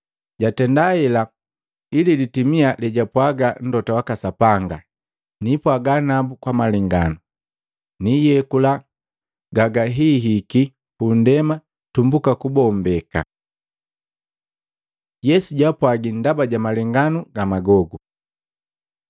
jatenda hela ili litimia lejwapwaaga Mlota waka Sapanga, “Nipwaaga nabu kwa malenganu, niiyekula gagahihiki pu nndema tumbuka kubombeka.” Yesu jaapwagi ndaba ja malenganu ga magogu